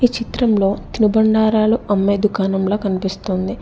ఈ చిత్రంలో తినుబండారాలు అమ్మే దుకాణంలా కనిపిస్తుంది.